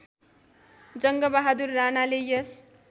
जङ्गबहादुर राणाले यस